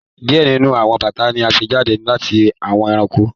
diẹ nínú àwọn bata ní a ṣe jáde lati awọ eranko.